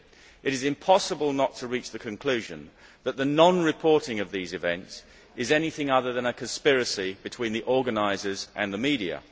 It is impossible not to reach the conclusion that the non reporting of these events is anything other than a conspiracy between the organisers and the media.